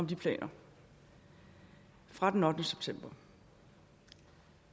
de planer fra den ottende september og